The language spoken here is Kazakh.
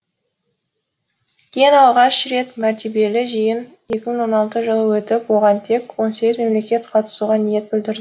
ең алғаш рет мәртебелі жиын екі мың он алты жылы өтіп оған тек он сегіз мемлекет қатысуға ниет білдірді